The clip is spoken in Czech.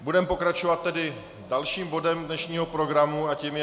Budeme pokračovat tedy dalším bodem dnešního programu a tím je